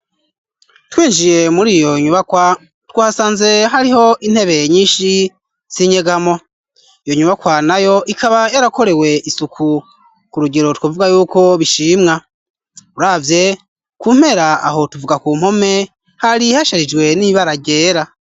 Twinjiye muri iyo nyubakwa twasanze hariho intebee nyinshi zinyegamo yo nyubakwanayo ikaba yarakorewe isuku ku rugero twavuga y'uko bishimwa uravye kumpera aho tuvuga ku mpome hari hasharijwe n'ibara ryera.